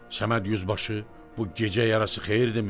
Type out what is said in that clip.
Səməd yüzbaşı bu gecə yarısı xeyirdimi?